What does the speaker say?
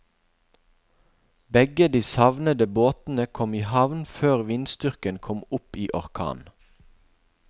Begge de savnede båtene kom i havn før vindstyrken kom opp i orkan.